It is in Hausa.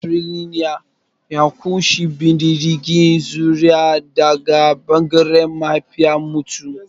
Matrilinial ya ƙunshi bin diddigin zuri'a daga ɓangaren mahaifiyar mutum.